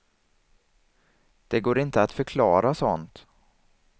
Det går inte att förklara sånt.